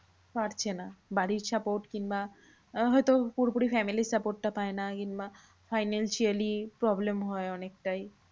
পারছে না বাড়ির support কিংবা হয়তো পুরোপুরি family র support টা পায় না। কিংবা financially problem হয় অনেকটাই।